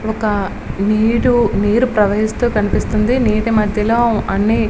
ఒక నీరు నీరు ప్రవహిస్తూ కనిపిస్తుంది. నీటి మధ్యలో అన్ని --